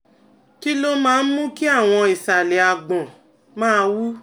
Kí ló máa ń mú kí àwọn ìsàlẹ̀ àgbọ̀n máa wú?